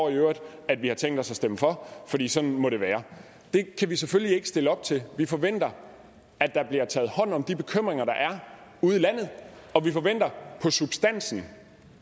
at vi har tænkt os at stemme for fordi sådan må det være det kan vi selvfølgelig ikke stille op til vi forventer at der bliver taget hånd om de bekymringer der er ude i landet og vi forventer i substansen